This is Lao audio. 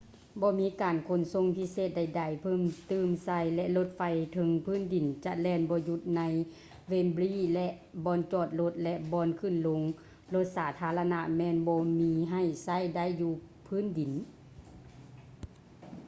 ບໍ່ມີການຂົນສົ່ງພິເສດໃດໆ ເພີ່ມຕື່ມໃສ່ ແລະ ລົດໄຟເທິງພື້ນດິນຈະແລ່ນບໍ່ຢຸດ ໃນ ເວມບຼີ wembley ແລະ ບ່ອນຈອດລົດ ແລະ ບ່ອນຂຶ້ນລົງລົດສາທາລະນະ ແມ່ນບໍ່ມີໃຫ້ໃຊ້ໄດ້ຢູ່ພື້ນດິນ